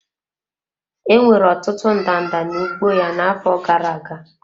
Enwere ọtụtụ ndanda n'ugbo ya n'afọ gara aga.